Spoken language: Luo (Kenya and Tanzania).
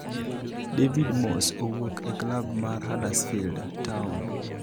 David Moss owuok e klab mar Huddersfield Town